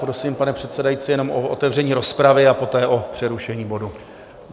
Prosím, pane předsedající, jenom o otevření rozpravy a poté o přerušení bodu.